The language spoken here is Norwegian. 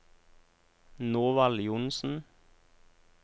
Norvald Johnsen